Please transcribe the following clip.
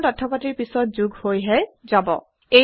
পুৰণা তথ্যপাতিৰ পিছত যোগ হৈ হে যাব